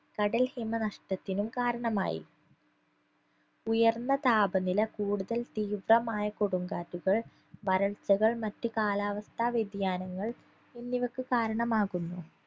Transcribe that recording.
കടൽ ഹിമ നഷ്ടത്തിനും കാരണമായി ഉയർന്ന താപനില കൂടുതൽ തീവ്രമായ കൊടുങ്കാറ്റുകൾ വരൾച്ചകൾ മറ്റു കാലാവസ്ഥാ വ്യതിയാനങ്ങൾ എന്നിവക്ക് കാരണമാകുന്നു